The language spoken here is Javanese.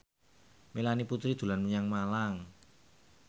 Melanie Putri dolan menyang Malang